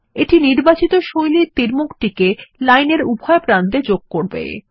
এইটা নির্বাচিত শৈলীর তীরমুখটিকে লাইন এর উভয় প্রান্ত এ যোগ করবে